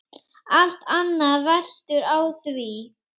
Allt annað veltur á því.